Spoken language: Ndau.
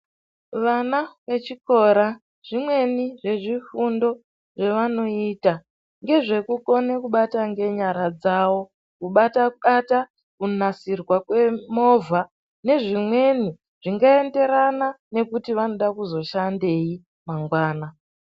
Vana vechikora zvimweni zvezvifundo zvevanoita ngezvekukone kubata ngenyara dzawo kubatabata kunasirwa kwemovha nezvimweni zvingaenderana nekuti vanode kuzoshandeyi mangwana.